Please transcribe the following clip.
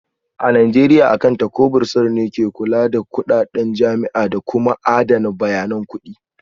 A Najeriya Akanta ko Bursar ne ke kula da kudaden jami'a da kuma adana bayanan kudi